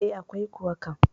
E, akwai kuwa kam.